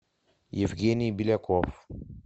евгений беляков